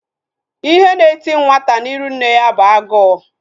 Ihe na eti nwata n'iru nne ya bụ agụụ